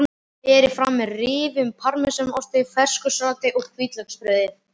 Berið fram með rifnum parmesanosti, fersku salati og hvítlauksbrauði.